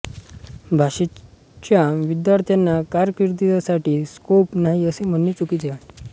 भाषेच्या विद्यार्थ्यांना कारकीर्दसाठी स्कोप नाही असे म्हणणे चुकीचे आहे